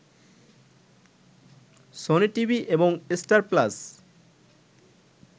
Sony TV এবং Star plus